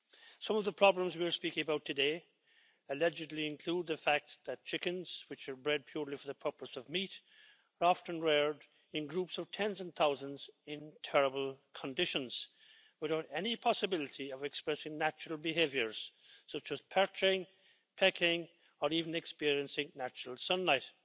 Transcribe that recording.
Some of the problems we were speaking about today allegedly include the fact that chickens which are bred purely for the purpose of meat are often reared in groups of tens of thousands in terrible conditions, without any possibility of expressing natural behaviours, such as perching, pecking or even experiencing natural sunlight.